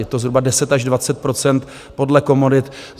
Je to zhruba 10 až 20 % podle komodit.